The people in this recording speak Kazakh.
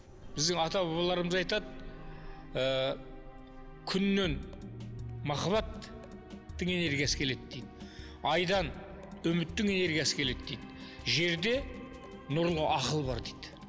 біздің ата бабаларымыз айтады ы күннен махаббаттың энергиясы келеді дейді айдан үміттің энергиясы келеді дейді жерде нұрлы ақыл бар дейді